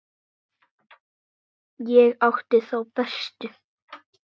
Ég átti þá bestu.